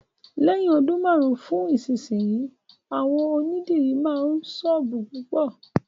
Lẹ́yìn ọdún márùn-ún sí ìsinsìnyí, àwọn onídìrí máa ní sọ́ọ̀bù púpọ̀ síi.